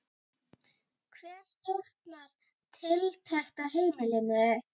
Hver stjórnar tiltekt á heimilinu?